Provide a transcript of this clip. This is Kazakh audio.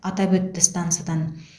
атап өтті стансадан